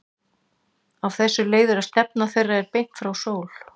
Af þessu leiðir að stefna þeirra er beint frá sól.